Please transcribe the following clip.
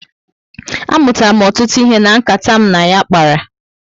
A mụtara m ọtụtụ ihe na nkata m na ya kpara